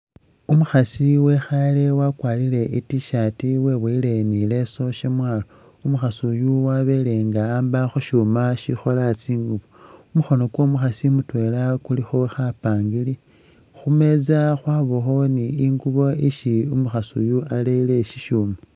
Umukhaasi wekhaale wakwarire I'T-shirt weboyile ni i'leesu syamwaalo, umukhasi uyu wabele nga a'amba khu syuuma sikhola tsingubo. Kumukhono kwo'omukhasi mutwela kulikho khapangiri, khu meza yabakho ni ingubo isi umukhasi uyu arere sisyuuma.